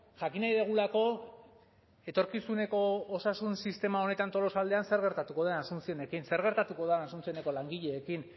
jakin nahi dugulako etorkizuneko osasun sistema honetan tolosaldean zer gertatuko den asunciónekin zer gertatuko den asuncióneko langileekin